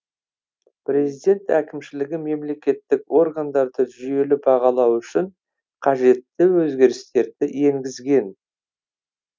президент әкімшілігі мемлекеттік органдарды жүйелі бағалау үшін қажетті өзгерістерді енгізген